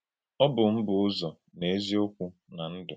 Ọ bù m bụ̀ Ụ̀zọ̀, nà Èzì-Okwú, nà Ndụ́.